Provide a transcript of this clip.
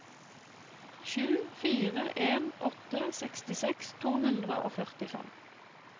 sju fire en åtte sekstiseks to hundre og førtifem